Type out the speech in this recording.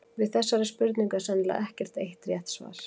Við þessari spurningu er sennilega ekkert eitt rétt svar.